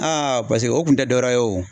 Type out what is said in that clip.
Aa paseke o kun tɛ dɔwɛrɛ ye o